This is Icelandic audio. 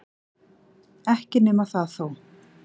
Ekki nema það þó!